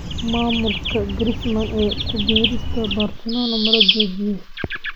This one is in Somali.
Maamulka Griezmann ee ku biirista Barcelona ma loo joojiyay?